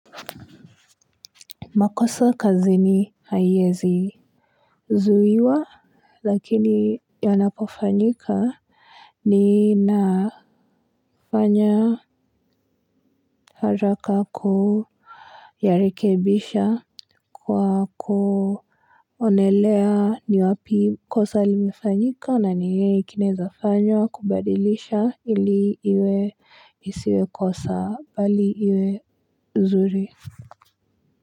Makosa kazini haiwezi zuiwa lakini yonapofanyika ninafanya haraka kuyarekebisha kwa kuonelea ni wapi kosa limefanyika na nini kinawezafanywa kubadilisha ili iwe isiwe kosa bali iwe uzuri.